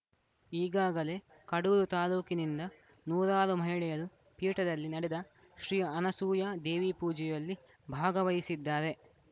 ಈಗಾಗಲೇ ಕಡೂರು ತಾಲೂಕಿನಿಂದ ನೂರಾರು ಮಹಿಳೆಯರು ಪೀಠದಲ್ಲಿ ನಡೆದ ಶ್ರೀ ಅನಸೂಯಾ ದೇವಿಪೂಜೆಯಲ್ಲಿ ಭಾಗವಹಿಸಿದ್ದಾರೆ